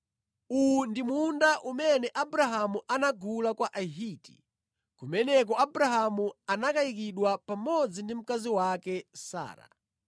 uwu ndi munda umene Abrahamu anagula kwa Ahiti. Kumeneko Abrahamu anakayikidwa pamodzi ndi mkazi wake Sara.